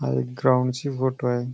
हा एक ग्राउंड ची फोटो आहे.